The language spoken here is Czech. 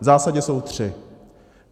V zásadě jsou tři.